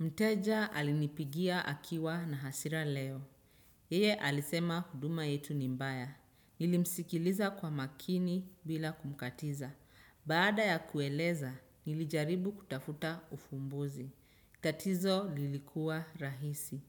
Mteja alinipigia akiwa na hasira leo. Yeye alisema huduma yetu ni mbaya. Nilimsikiliza kwa makini bila kumkatiza. Baada ya kueleza, nilijaribu kutafuta ufumbuzi. Tatizo lilikuwa rahisi.